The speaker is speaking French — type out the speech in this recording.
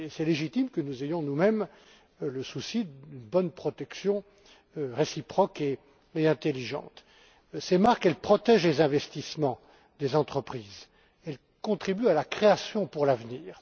Il est légitime que nous ayons, nous mêmes, le souci d'une bonne protection réciproque et intelligente. Ces marques protègent les investissements des entreprises et elles contribuent à la création pour l'avenir.